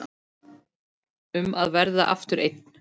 Um að verða aftur einn.